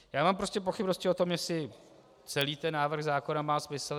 Já mám prostě pochybnosti o tom, jestli celý ten návrh zákona má smysl.